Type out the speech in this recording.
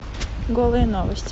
голые новости